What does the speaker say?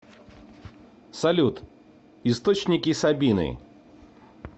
салют источники сабины